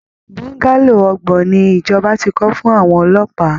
Bungalow ọgbọ̀n ni ìjọba ti kọ́ fún àwọn ọlọ́pàá